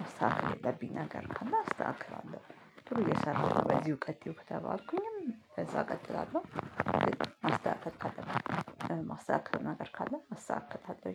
ማስተካከል ያለብኝ ነገር ካለ አስተካክላለሁ። ጥሩ እየሰራሽብነው በዚሁ ቀጥዪ ከተባልኩኝም በዛ እቀጥላለሁ። ማስተካከል ካለብኝ ማስተካከለው ነገር ካለ አስተካክላለሁ